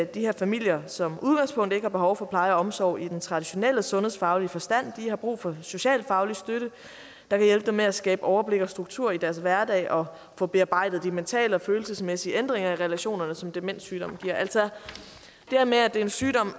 de her familier som udgangspunkt ikke har behov for pleje og omsorg i den traditionelle sundhedsfaglige forstand de har brug for socialfaglig støtte der kan hjælpe dem med at skabe overblik og struktur i deres hverdag og få bearbejdet de mentale og følelsesmæssige ændringer i relationerne som demenssygdommen giver altså det her med at det er en sygdom